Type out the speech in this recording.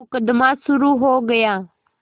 मुकदमा शुरु हो गया